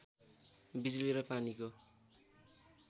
बिजुली र पानीको